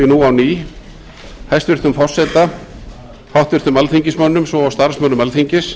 nú á ný hæstvirts forseta háttvirtum alþingismönnum svo og starfsmönnum alþingis